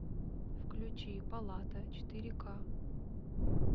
включи палата четыре ка